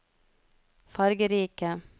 fargerike